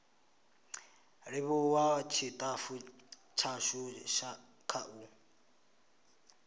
livhuwa tshitafu tshashu kha u